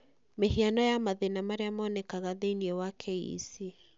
Mĩhiano ya mathĩna marĩa moonekaga thĩinĩ wa KEC.